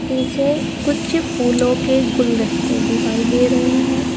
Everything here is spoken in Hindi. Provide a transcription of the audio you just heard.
पीछे कुछ फूलों के गुलदस्ते दिखाई दे रहे हैं।